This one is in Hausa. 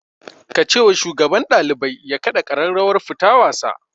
Ka ce wa shugaban ɗalibai ya kaɗa ƙararrawar fita wasa